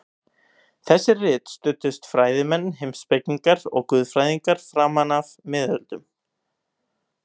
Við þessi rit studdust fræðimenn, heimspekingar og guðfræðingar framan af miðöldum.